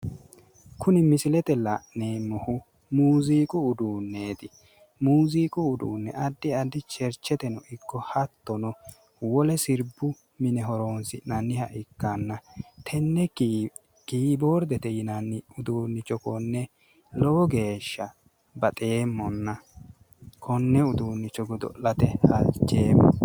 Kuni misilete la'neemohu muuziqu uduuneeti muuziqu uduune addi addi chericheteno ikko hattono wole siribbu mine horonisi'naniha ikkana tenne kiiboridete yinanni uduunnicho konne lowo geesha baxeemon konne uduunnicho godo'late halicheemo